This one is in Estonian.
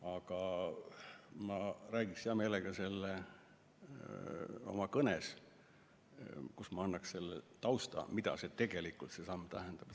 Aga ma räägiksin hea meelega sellest oma kõnes, kus ma annan ka tausta, mida tegelikult see samm tähendab.